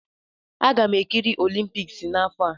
Aga m ekiri olimpiks n'afọ a.